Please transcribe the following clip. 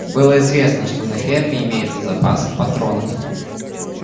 было известно что на ферме имеется запас патронов